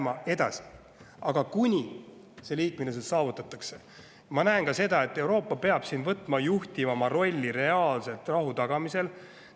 Ma näen ka seda, et kuni see liikmelisus saavutatakse, peab Euroopa võtma juhtivama rolli reaalselt rahu tagamisel.